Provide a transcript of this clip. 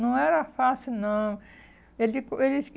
Não era fácil, não. Ele ele